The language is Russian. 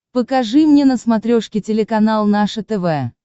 покажи мне на смотрешке телеканал наше тв